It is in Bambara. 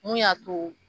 Mun y'a to